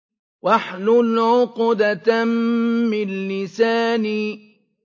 وَاحْلُلْ عُقْدَةً مِّن لِّسَانِي